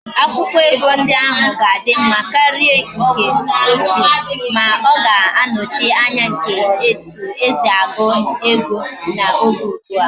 Akwukwo ego ndi ohuru ga adi mma karia ndi nke ochie, ma oga anochi Anya nke etu esi agu ego na Oge ugbua